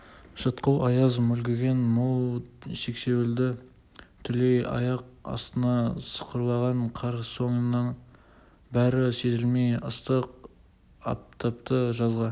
шытқыл аяз мүлгіген мол сексеуілді түлей аяқ астында сықырлаған қар соның бәрі сезілмей ыстық аптапты жазға